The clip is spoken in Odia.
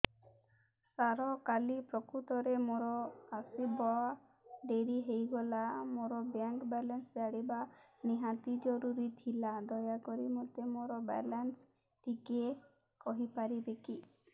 ସାର କାଲି ପ୍ରକୃତରେ ମୋର ଆସିବା ଡେରି ହେଇଗଲା ମୋର ବ୍ୟାଙ୍କ ବାଲାନ୍ସ ଜାଣିବା ନିହାତି ଜରୁରୀ ଥିଲା ଦୟାକରି ମୋତେ ମୋର ବାଲାନ୍ସ ଟି କହିପାରିବେକି